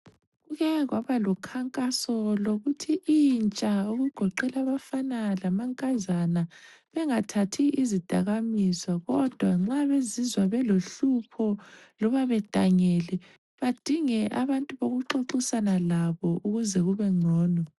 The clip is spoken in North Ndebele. Kuke kwaba lokhankaso lokuthi intsha okugoqela abafana lamankazana bengathathi izidakamizwa kodwa nxa bezizwa belohlupho loba bedangele badinge abantu bokuxoxisana labo ukuze kube ngcono.